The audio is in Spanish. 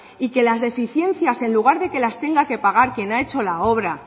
y que las deficiencias en lugar de que las tenga que pagar quien ha hecho la obra